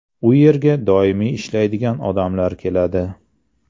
U yerga doimiy ishlaydigan odamlar keladi.